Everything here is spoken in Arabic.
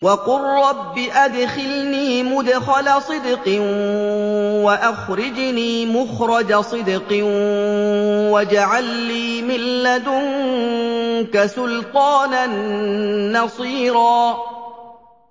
وَقُل رَّبِّ أَدْخِلْنِي مُدْخَلَ صِدْقٍ وَأَخْرِجْنِي مُخْرَجَ صِدْقٍ وَاجْعَل لِّي مِن لَّدُنكَ سُلْطَانًا نَّصِيرًا